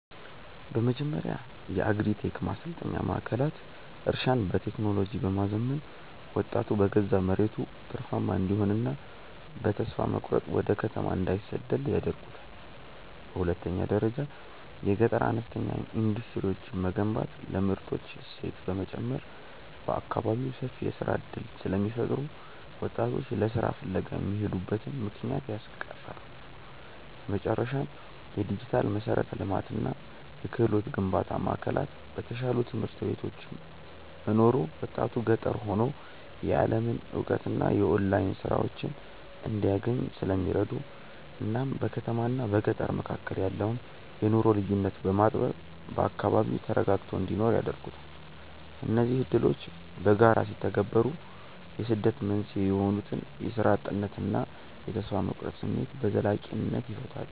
በመጀመሪያ የአግሪ-ቴክ ማሰልጠኛ ማዕከላት እርሻን በቴክኖሎጂ በማዘመን ወጣቱ በገዛ መሬቱ ትርፋማ እንዲሆንና በተስፋ መቁረጥ ወደ ከተማ እንዳይሰደድ ያደርጉታል። በሁለተኛ ደረጃ የገጠር አነስተኛ ኢንዱስትሪዎችን መገንባት ለምርቶች እሴት በመጨመር በአካባቢው ሰፊ የሥራ ዕድል ስለሚፈጥሩ ወጣቶች ለሥራ ፍለጋ የሚሄዱበትን ምክንያት ያስቀራሉ። በመጨረሻም፣ የዲጂታል መሠረተ ልማትና የክህሎት ግንባታ ማዕከላት በተሻሉ ትምህርት ቤቶች መኖሩ ወጣቱ ገጠር ሆኖ የዓለምን እውቀትና የኦንላይን ሥራዎችን እንዲያገኝ ስለሚረዱት እናም በከተማና በገጠር መካከል ያለውን የኑሮ ልዩነት በማጥበብ በአካባቢው ተረጋግቶ እንዲኖር ያደርጉታል። እነዚህ ዕድሎች በጋራ ሲተገበሩ የስደት መንስኤ የሆኑትን የሥራ እጥነትና የተስፋ መቁረጥ ስሜት በዘላቂነት ይፈታሉ።